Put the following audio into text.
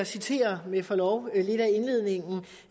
citere med forlov